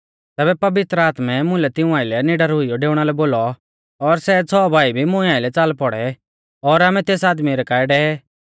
तैबै पवित्र आत्मै मुलै तिऊं आइलै निडर हुइयौ डेउणा लै बोलौ और सै छ़ौ भाई भी मुं आइलै च़ाल पौड़ै और आमै तेस आदमी रै काऐ डेवे